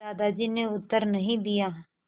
दादाजी ने उत्तर नहीं दिया